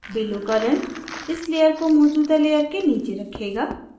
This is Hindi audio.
below current इस layer को मौजूदा layer के नीचे रखेगा